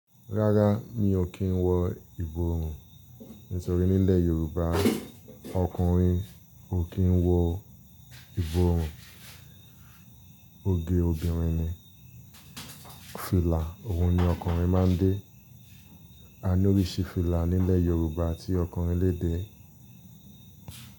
Rárá mi ò kí ń wọ ìborùn, nítorí nílẹ̀ Yorùbá ọkùnrin ò kí ń wọ ìborùn, óge obìnrin ni. Fìlà òun ni ọkùnrin máa ń dé. A ní oríṣi fìlà nílẹ̀ Yorùbá tí ọkùnrin lè dé.